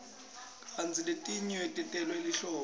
kantsi letinye tentelwe lihlobo